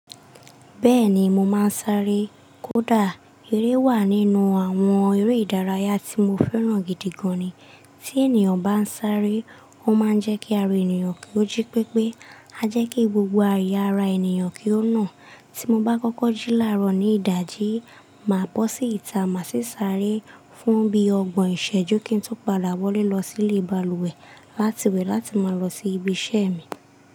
Bẹ́ẹ̀ni mo máa ń sáré. Kódà eré wà nínú àwọn eré ìdárayá tí mo fẹ́ràn gidi gan ni. Tí ènìyàn bá ń sáré, ó máa ń jẹ́ kí ara ènìyàn kí ó jí pépé, á jẹ́ kí gbogbo àya'ara ènìyàn kí ó nà. Tí mo bá kọ́kọ́ jí láàárọ̀ ní ìdájí, màá bọ́ sí ìta, màá sì sáré fún bí ọgbọ̀n ìṣẹ́jú kí n tó padà wọlé lọ sílé balùwẹ̀ láti wẹ̀ láti máa lọ sí ibi iṣẹ́ mi.